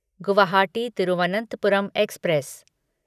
Guwahati Thiruvananthapuram express